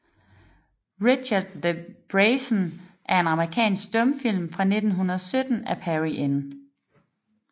Richard the Brazen er en amerikansk stumfilm fra 1917 af Perry N